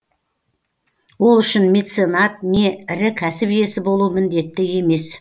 ол үшін меценат не ірі кәсіп иесі болу міндетті емес